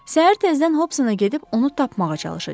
Səhər tezdən Hopsana gedib onu tapmağa çalışacam.